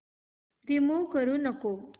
remove करू नको